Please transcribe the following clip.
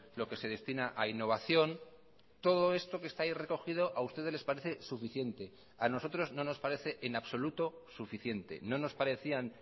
lo que se destina a innovación todo esto que está ahí recogido a ustedes les parece suficiente a nosotros no nos parece en absoluto suficiente no nos parecían